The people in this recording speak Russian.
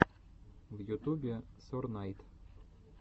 в ютубе сорнайд